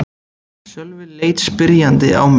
Sölvi leit spyrjandi á mig.